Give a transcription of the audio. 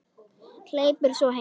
Hleypur svo heim.